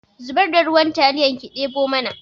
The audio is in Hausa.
Zubar da ruwan taliyar ki ɗemo mana